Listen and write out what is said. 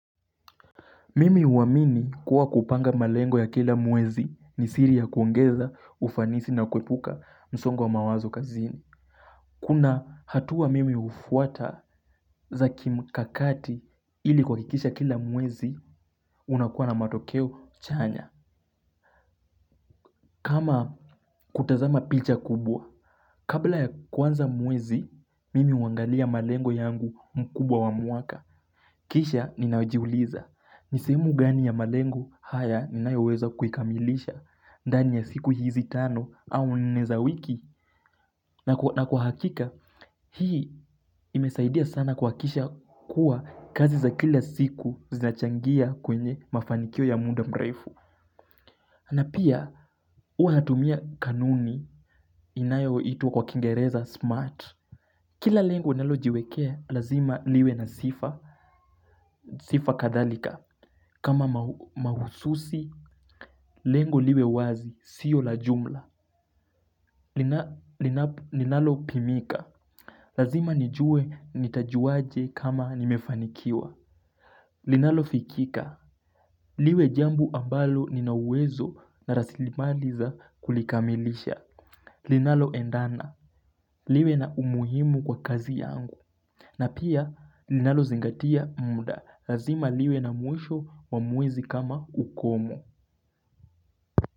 Mimi huamini kuwa kupanga malengo ya kila mwezi ni siri ya kuongeza ufanisi na kuepuka msongo wa mawazo kazini. Kuna hatua mimi hufuata za kimkakati ili kuhakikisha kila mwezi unakuwa na matokeo chanya. Kama kutazama picha kubwa, kabla ya kwanza mwezi, mimi huangalia malengo yangu mkubwa wa mwaka. Kisha ninajiuliza ni sehemu gani ya malengo haya naweza kuikamilisha ndani ya siku hizi tano au nne za wiki na kwa hakika. Hii imesaidia sana kuhakikisha kuwa kazi za kila siku zinachangia kwenye mafanikio ya muda mrefu. Na pia, huwa natumia kanuni inayoitwa kwa kingereza smart. Kila lengo ninalojiwekea lazma liwe na sifa kadhalika kama mahsusi, lengo liwe wazi, sio la jumla. Linalo pimika. Lazima nijue nitajuaje kama nimefanikiwa. Linalofikika liwe jambo ambalo ninawezo na rasilimali za kulikamilisha. Linaloendana liwe na umuhimu kwa kazi yangu na pia linalozingatia muda lazima liwe na mwisho wa muda kama ukomo.